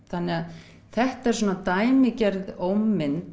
þannig þetta er svona dæmigerð